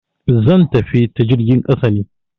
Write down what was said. zan tafi ta jirgin ƙasa ne.